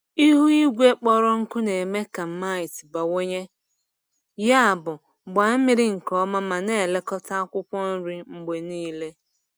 Ihu igwe kpọrọ nkụ na-eme ka mites bawanye, yabụ gbaa mmiri nke ọma ma na-elekọta akwụkwọ nri mgbe niile.